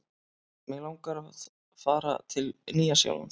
Mig langar að fara til Nýja-Sjálands.